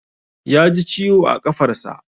Ya ji ciwo a ƙafarsa.